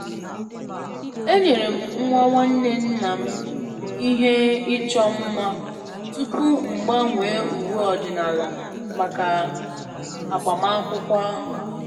enyere m nwa nwanne nna m ihe ịchọ mma tupu m gbanwee uwe ọdịnala maka agbamakwụkwọ ahụ